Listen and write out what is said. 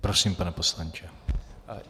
Prosím, pane poslanče.